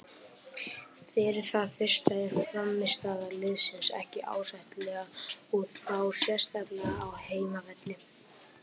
Fyrir það fyrsta er frammistaða liðsins ekki ásættanlega og þá sérstaklega á heimavelli.